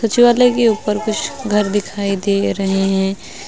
सचिवालय के ऊपर कुछ घर दिखाई दे रहे हैं।